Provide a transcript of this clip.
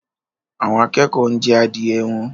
Àwọn akẹ́kọ̀ọ́ ń jẹ adìẹ wọn